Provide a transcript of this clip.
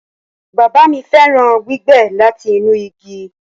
Baba mi fẹran gbígbẹ lati inu igi